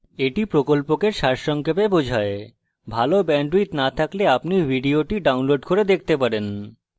এটি প্রকল্পকে সারসংক্ষেপে বোঝায় ভাল bandwidth না থাকলে আপনি ভিডিওটি download করে দেখতে পারেন